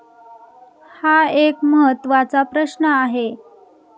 हा एक महत्वाचा प्रश्न आहे.